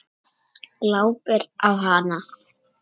Glápir á hana.